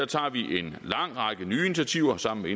tager vi en lang række nye initiativer sammen med